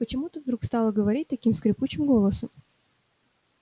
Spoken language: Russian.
почему ты вдруг стала говорить таким скрипучим голосом